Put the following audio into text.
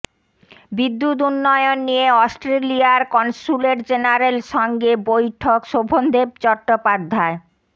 বিদ্যুত উন্নয়ন নিয়ে অস্ট্রেলিয়ার কনস্যুলেট জেনারেল সঙ্গে বৈঠক শোভনদেব চট্টোপাধ্যায়